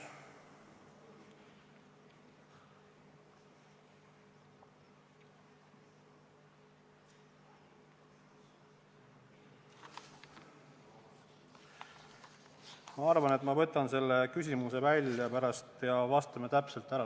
Ma arvan, et ma panen selle küsimuse kirja ja pärast vastame täpselt ära.